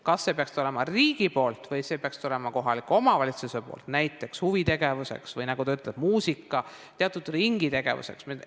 Kas see peaks tulema riigi poolt või see peaks tulema kohaliku omavalitsuse poolt, näiteks huvitegevuseks või teatud ringitegevuseks?